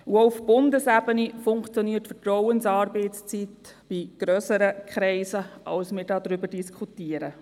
Auch auf Bundesebene funktioniert die Vertrauensarbeitszeit in grösseren Kreisen, als wir hier darüber diskutieren.